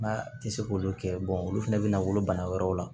N'a tɛ se k'olu kɛ olu fana bɛna wolo bana wɛrɛw la